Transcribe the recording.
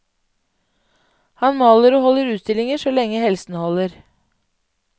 Han maler og holder utstillinger så lenge helsen holder.